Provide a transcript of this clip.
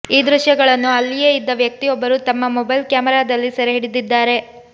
ಈ ದೃಶ್ಯಗಳನ್ನು ಅಲ್ಲಿಯೇ ಇದ್ದ ವ್ಯಕ್ತಿಯೊಬ್ಬರು ತಮ್ಮ ಮೊಬೈಲ್ ಕ್ಯಾಮೆರಾದಲ್ಲಿ ಸೆರೆ ಹಿಡಿದಿದ್ದಾರೆ